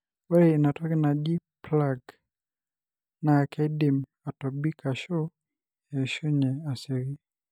ore ina toki naji"plug" na kedim atobik ashu eishunye asioki,